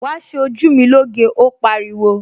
Wàá ṣe ojú mi lóge, ó pariwo!